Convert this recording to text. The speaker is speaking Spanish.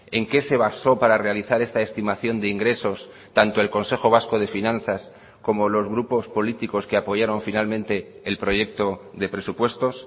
en qué se basó para realizar esta estimación de ingresos tanto el consejo vasco de finanzas como los grupos políticos que apoyaron finalmente el proyecto de presupuestos